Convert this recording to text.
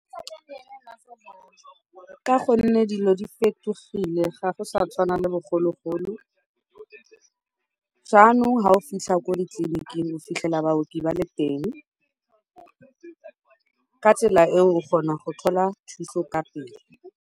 Ka gonne dilo di fetogile ga go sa tshwana le bogologolo, jaanong fa o fitlha ko ditleliniking o fitlhela baoki ba le teng, ka tsela eo o kgona go thola thuso ka pele.